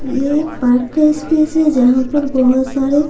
ये एक पार्क का स्पेस है जहां पर बहुत सारे--